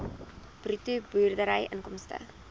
bruto boerdery inkomste